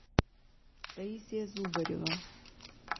таисия зубарева